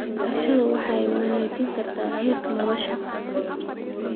Beerashadu waxay wanaajin kartaa heerka nolosha.